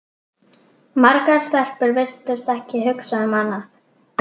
Margar stelpur virtust ekki hugsa um annað.